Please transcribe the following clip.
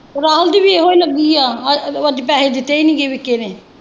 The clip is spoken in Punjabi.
ਰਾਮ ਦੀ ਵੀ ਇਹੋ ਲੱਗੀ ਹੈ ਅੱਜ ਪੈਸੇ ਦਿੱਤੇ ਕ ਨਹੀਂ ਦਿੱਤੇ ਤੂੰ।